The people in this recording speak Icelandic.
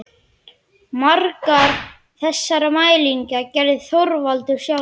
Margar þessara mælinga gerði Þorvaldur sjálfur.